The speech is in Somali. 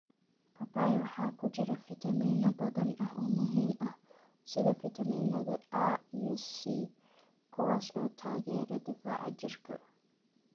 Papaya waxaa ku jira fitamiino badan oo muhiim ah, sida fiitamiinada A iyo C, kuwaas oo taageera difaaca jirka.